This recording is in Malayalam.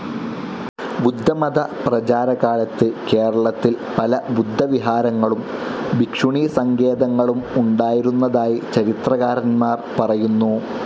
ബുദ്ധമതപ്രചാരകാലത്ത് കേരളത്തിൽ പല ബുദ്ധവിഹാരങ്ങളും ഭിക്ഷുണീസങ്കേതങ്ങളും ഉണ്ടായിരുന്നതായി ചരിത്രകാരന്മാർ പറയുന്നു.